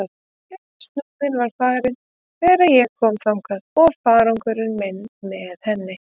En Súðin var farin þegar ég kom þangað og farangur minn með henni.